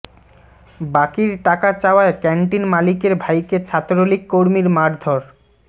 বাকির টাকা চাওয়ায় ক্যানটিন মালিকের ভাইকে ছাত্রলীগ কর্মীর মারধর